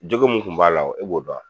Jogo mun tun b'a la e b'o dɔn wa ?